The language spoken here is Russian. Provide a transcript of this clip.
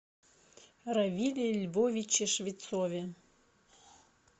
равиле львовиче швецове